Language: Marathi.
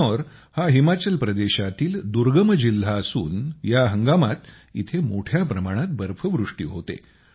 किन्नौर हा हिमाचल प्रदेशातील दुर्गम जिल्हा असून या हंगामात येथे मोठ्या प्रमाणात बर्फवृष्टी होते